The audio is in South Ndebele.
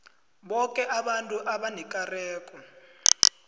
boke abantu abanekareko